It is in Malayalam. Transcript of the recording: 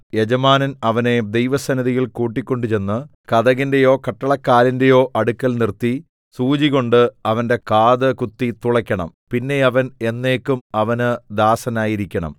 യജമാനൻ അവനെ ദൈവസന്നിധിയിൽ കൂട്ടിക്കൊണ്ട് ചെന്ന് കതകിന്റെയോ കട്ടളക്കാലിന്റെയോ അടുക്കൽ നിർത്തി സൂചികൊണ്ട് അവന്റെ കാത് കുത്തി തുളയ്ക്കണം പിന്നെ അവൻ എന്നേക്കും അവന് ദാസനായിരിക്കണം